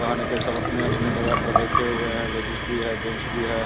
सब अपने-अपने जगा पर बैठे हुए हैं। लेडिस भी हैं जेन्स भी हैं।